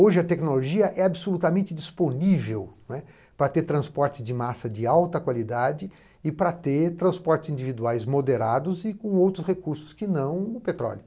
Hoje a tecnologia é absolutamente disponível para ter transporte de massa de alta qualidade e para ter transportes individuais moderados e com outros recursos que não o petróleo.